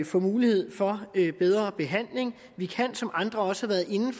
få mulighed for bedre behandling vi kan som andre også har været inde